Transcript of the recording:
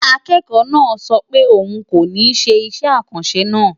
Akẹ́kọ̀ọ́ náà sọ pé òun kò ní ṣe iṣẹ́ àkànṣe náà.